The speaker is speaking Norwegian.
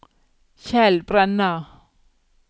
Kjell Brenna